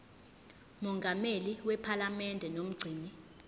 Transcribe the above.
mongameli wephalamende nomgcini